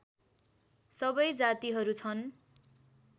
सबै जातिहरू छन्